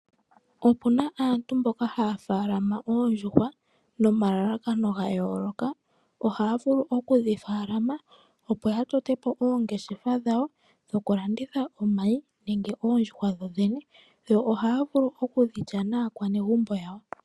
Opuna aantu mboka haya faalama oondjuhwa nomalalakano ga yooloka. Ohaya vulu okudhi faalama opo ya tote po oongeshefa dhawo dho kulanditha omayi nenge oondjuhwa dhodhene. Yo ohaya vulu oku dhi lya naakwanegumbo yawo.